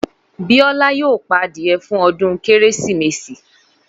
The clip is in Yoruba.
Bíọ́lá yoo pa adìyẹ fún ọdún Kérésìmesì.